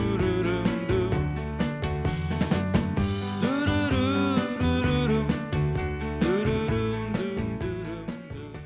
var